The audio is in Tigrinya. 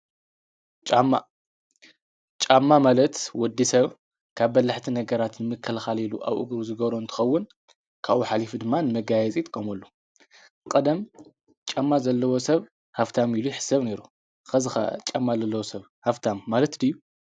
ጫማ ማለት ወዲ ሰብ ካብ በላሕቲ ነገራትን ንምክልካል ኣብ እግሩ ዝገብሮ እንትኸውን ካኡ ሓሊፉ ድማ ንመጋይፂ ይጥቆምሉ። ቀደም ጫማ ዘለዎ ሰብ ሃብታም ኢሉ ይሕሰብ ነይሩ ሕዚ'ከ ጫማ ዘለዎ ሰብ ሃፍታም ማለት ድዩ?